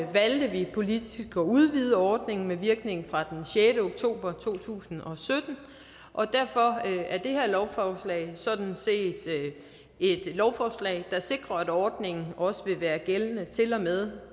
valgte vi politisk at udvide ordningen med virkning fra den sjette oktober to tusind og sytten og derfor er det her lovforslag sådan set et lovforslag der sikrer at ordningen også vil være gældende til og med